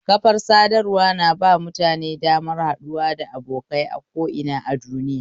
Kafar sadarwa na ba mutane damar haɗuwa da abokai a ko'ina a duniya